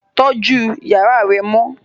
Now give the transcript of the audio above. Tọjù yàrá rẹ mọ!